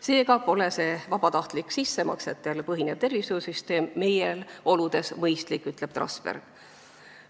Seega pole see vabatahtlik sissemaksetel põhinev tervishoiusüsteem meie oludes mõistlik, ütleb Trasberg.